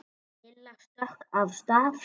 Lilla stökk af stað.